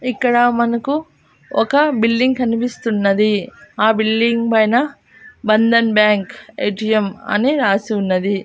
ఇక్కడ మనకు ఒక బిల్డింగ్ కనిపిస్తున్నది ఆ బిల్డింగ్ పైన బంధన్ బ్యాంక్ ఎ_టీ_యం అని రాసి ఉన్నది.